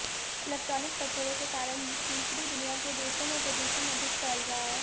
electronic कचरे के कारण तीसरी दुनिया के देशों में प्रदूषण अधिक फैल रहा है